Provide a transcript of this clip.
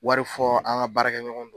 Wari fɔ an ka baarakɛɲɔgɔn